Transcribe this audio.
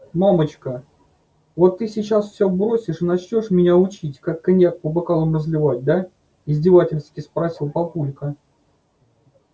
мамочка вот ты сейчас все бросишь и начнёшь меня учить как коньяк по бокалам разливать да издевательски спросил папулька